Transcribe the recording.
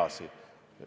jne.